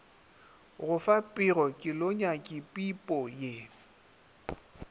go fa pego kelonyakipipo ye